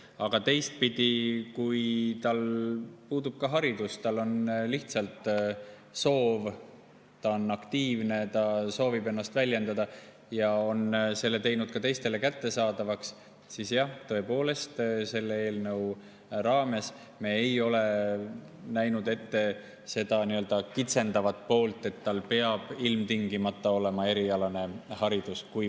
Aga teistpidi, kui tal puudub haridus, tal on lihtsalt soov, ta on aktiivne, ta soovib ennast väljendada ja on selle teinud ka teistele kättesaadavaks, siis jah, tõepoolest, selle eelnõu raames me ei ole näinud ette seda kitsendavat poolt, et tal peaks ilmtingimata olema erialane haridus.